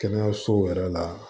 Kɛnɛyasow yɛrɛ la